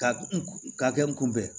Ka n ka kɛ n kunbɛn